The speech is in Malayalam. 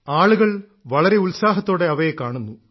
ആളുകൾ വളരെ ഉത്സാഹത്തോടെ അവയെ കാണുന്നു